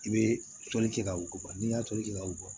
I bɛ toli kɛ ka wo bɔ n'i y'a toli kɛ ka wo bɔ